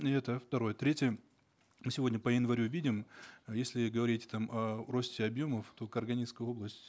и это второе третье сегодня по январю видим если говорить там о росте объемов то карагандинская область